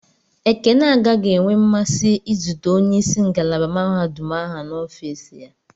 Ekene agaghị enwe mmasị izute onye isi ngalaba mahadum ahụ na ofis ya.